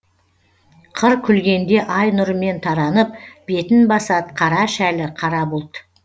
қыр күлгенде ай нұрымен таранып бетін басад қара шәлі қара бұлт